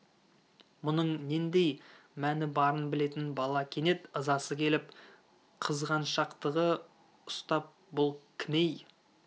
мұның нендей мәні барын білетін бала кенет ызасы келіп қызғаншақтығы ұстап бұл кім-ей